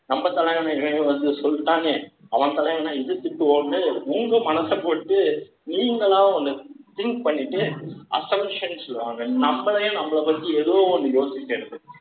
கம்ப, தலைகாணிகள் வந்து, சொல்தானே அவன் உங்க மனச போட்டு, நீங்களா ஒண்ணு, think பண்ணிட்டு, assumption சொல்லுவாங்க. நம்மளையே, நம்மளை பத்தி, ஏதோ ஒண்ணு யோசிக்கிறது.